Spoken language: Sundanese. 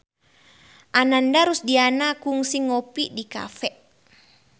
Ananda Rusdiana kungsi ngopi di cafe